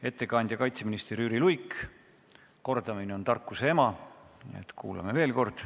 Ettekandja kaitseminister Jüri Luik, kordamine on tarkuse ema, nii et kuulame veel kord.